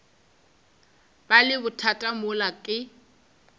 ba le bothata mola ke